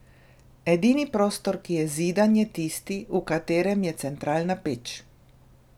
Edini prostor, ki je zidan, je tisti, v katerem je centralna peč.